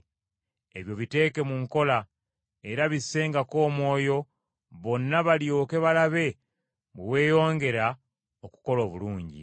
Ebyo biteeke mu nkola, era bissengako omwoyo, bonna balyoke balabe bwe weeyongera okukola obulungi.